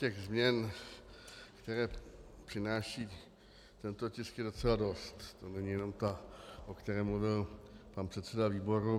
Těch změn, které přináší tento tisk, je docela dost, to není jenom ta, o které mluvil pan předseda výboru.